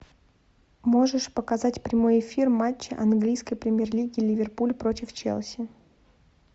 можешь показать прямой эфир матча английской премьер лиги ливерпуль против челси